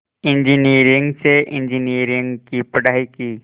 engineering से engineering की पढ़ाई की